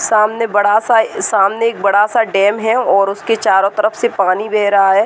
सामने बड़ा-सा ए सामने एक बड़ा-सा डैम है और उसके चारों तरफ से पानी बह रहा है।